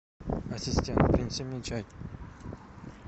ассистент принеси мне чай